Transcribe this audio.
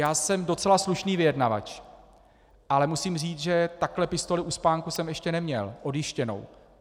Já jsem docela slušný vyjednavač, ale musím říct, že takhle pistoli u spánku jsem ještě neměl - odjištěnou.